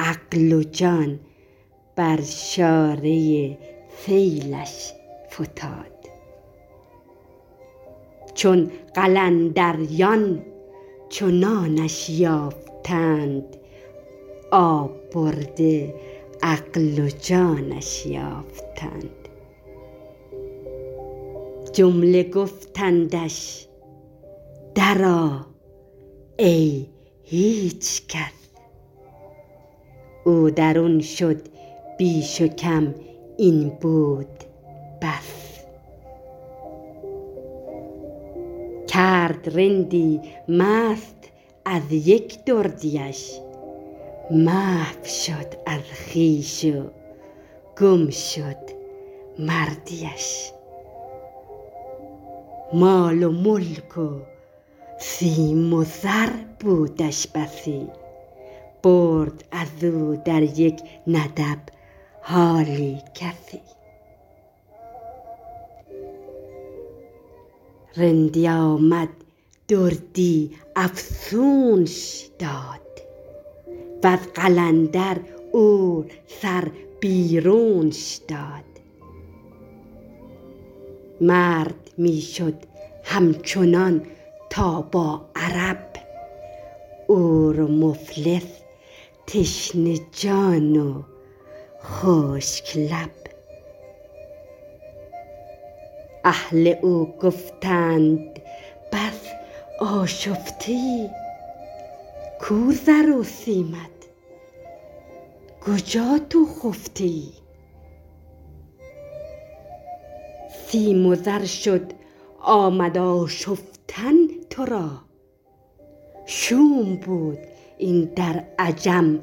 عقل و جان بر شارع سیلش فتاد چون قلندریان چنانش یافتند آب برده عقل و جانش یافتند جمله گفتندش درآ ای هیچ کس او درون شد بیش و کم این بود بس کرد رندی مست از یک دردیش محو شد از خویش و گم شد مردیش مال و ملک و سیم و زر بودش بسی برد ازو در یک ندب حالی کسی رندی آمد دردی افزونش داد وز قلندر عور سر بیرونش داد مرد می شد همچنان تا با عرب عور و مفلس تشنه جان و خشک لب اهل او گفتند بس آشفته ای کو زر و سیمت کجا تو خفته ای سیم و زر شد آمد آشفتن ترا شوم بود این در عجم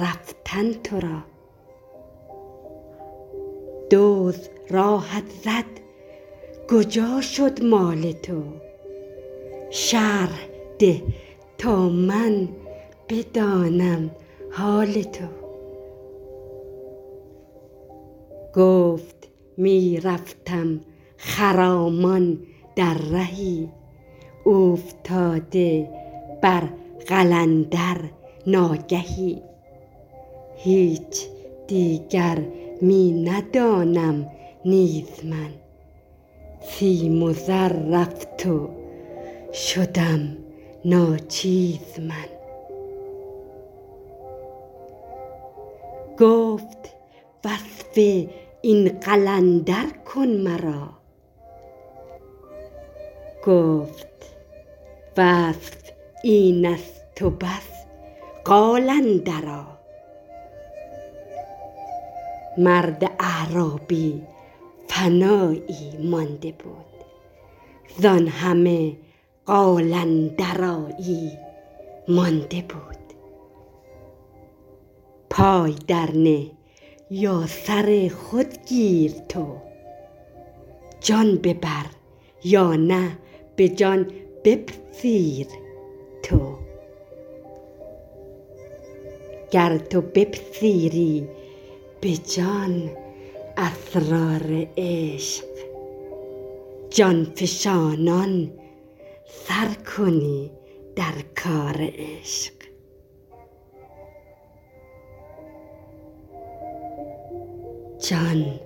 رفتن ترا دزد راهت زد کجا شد مال تو شرح ده تا من بدانم حال تو گفت می رفتم خرامان در رهی اوفتاده بر قلندر ناگهی هیچ دیگر می ندانم نیز من سیم و زر رفت وشدم ناچیز من گفت وصف این قلندر کن مرا گفت وصف اینست و بس قال اندرا مرد اعرابی فنایی مانده بود زان همه قال اندرایی مانده بود پای درنه یا سر خود گیر تو جان ببر یا نه به جان بپذیر تو گر تو بپذیری به جان اسرار عشق جان فشانان سرکنی در کار عشق جان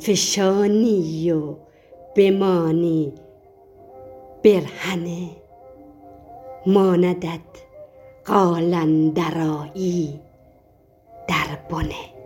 فشانی و بمانی برهنه ماندت قال اندرایی دربنه